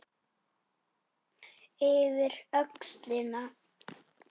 Yfir öxlina.